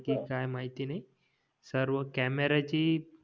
कि काय माहिती नाही सर्व कॅमेराची